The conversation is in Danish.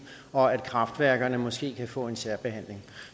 og at kraftværkerne måske kan få en særbehandling